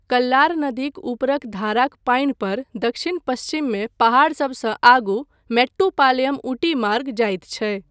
कल्लार नदीक ऊपरक धाराक पानि पर दक्षिण पश्चिममे पहाड़सबसँ आगू मेट्टुपालयम ऊटी मार्ग जाइत छै।